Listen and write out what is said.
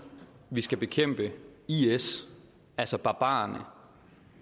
vi skal bekæmpe is altså barbarerne